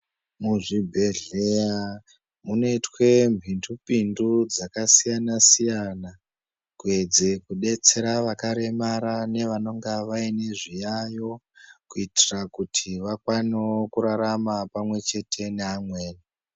Muzvibhedhlera munoitwe mhitupindu dzakasiyana siyana kuedze kudetsera vakaremara nevanonga vaine zviyayo kuitira kuti vakwanoo kurarama pamwe chete neamweni